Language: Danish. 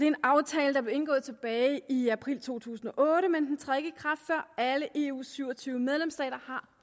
en aftale der blev indgået tilbage i april to tusind og otte men den træder ikke i kraft før alle eus syv og tyve medlemsstater har